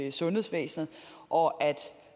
i sundhedsvæsenet og at